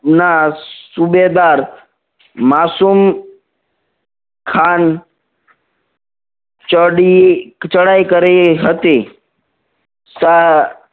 ના સુબેદાર માસુમ ખાન ચડી ચડાઈ કરી હતી